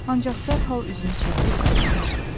Ancaq dərhal üzünü çevirib qapıdan çıxdı.